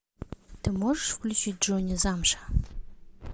ты можешь включить джонни замша